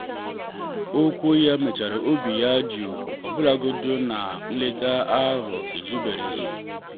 okwu ya mechara obi ya jụụ ọbụlagodi na nleta ahụ ezubereghị.